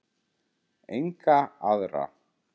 Enga aðra.